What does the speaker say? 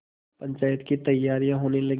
पंचायत की तैयारियाँ होने लगीं